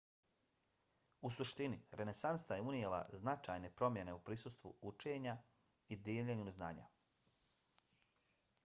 u suštini renesansa je unijela značajne promjene u pristupu učenju i dijeljenju znanja